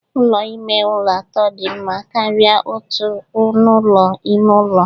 Ụlọ ime ụlọ atọ dị mma karịa otu ọnụ ụlọ ime ụlọ